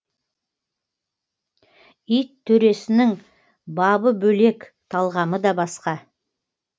ит төресінің бабы бөлек талғамы да басқа